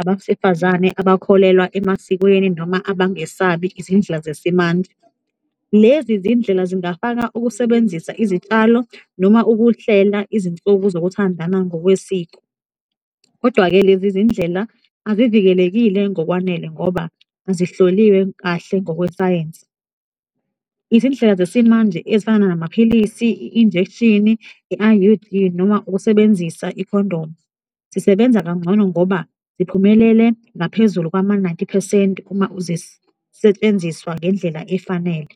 abasifazane abakholelwa emasikweni noma abangesabi izindlela zesimanje. Lezi zindlela zingafaka ukusebenzisa izitshalo noma ukuhlela izinsuku zokuthandana ngokwesiko kodwa-ke, lezi zindlela azivikelekile ngokwanele ngoba azihloliwe kahle ngokwe sayensi. Izindlela zesimanje ezifana namaphilisi, i-injekshini, i-I_U_D noma ukusebenzisa i-condom zisebenza kangcono ngoba ziphumelele ngaphezulu kwama-ninety percent uma zisentshenziswa ngendlela efanele.